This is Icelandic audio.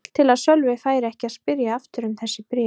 Allt til að Sölvi færi ekki að spyrja aftur um þessi bréf.